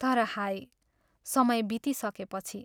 तर हाय, समय बितिसकेपछि।